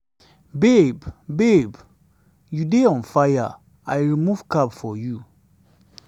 babe babe you dey on fire. i remove cap for you.